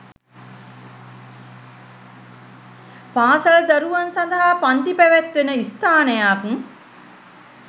පාසල් දරුවන් සඳහා පන්ති පැවැත්වෙන ස්ථානයක්